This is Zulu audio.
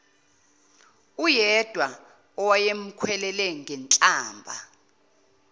uyedwa owayemkhwelele ngenhlamba